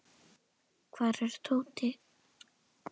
Hvar er Tóti?